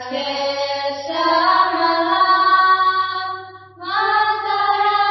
ಸಸ್ಯ ಶ್ಯಾಮಲಾಂ ಮಾತರಂ